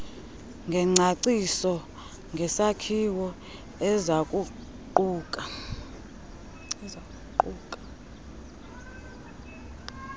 ngengcaciso ngesakhiwo ezakuquka